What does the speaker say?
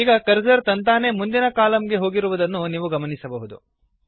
ಈಗ ಕರ್ಸರ್ ತಂತಾನೇ ಮುಂದಿನ ಕಲಮ್ ಗೆ ಹೋಗಿರುವುದನ್ನು ನೀವು ಗಮನಿಸಬಹುದು